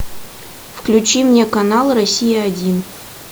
включи мне канал россия один